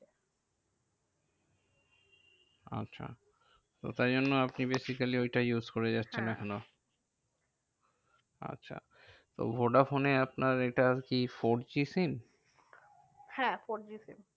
আচ্ছা তো তাই জন্য আপনি basically ওই টাই use করে যাচ্ছেন এখনও। আচ্ছা তো ভোডাফোনে আপনার এটা কি four G SIM হ্যাঁ four G SIM